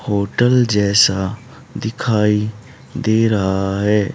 Hotel जैसा दिखाई दे रहा है।